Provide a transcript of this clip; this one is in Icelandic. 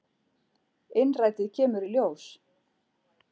Innrætið kemur í ljós.